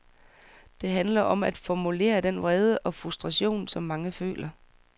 Det handler om at formulere den vrede og frustration, som mange føler.